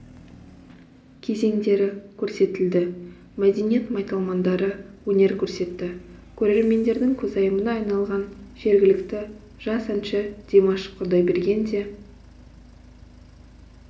кезеңдері көрсетілді мәдениет майталмандары өнер көрсетті көрермендердің көзайымына айналған жергілікті жас әнші димаш құдайберген де